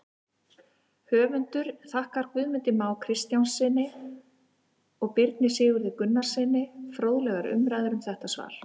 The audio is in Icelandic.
Höfundur þakkar Magnúsi Má Kristjánssyni og Birni Sigurði Gunnarssyni fróðlegar umræður um þetta svar.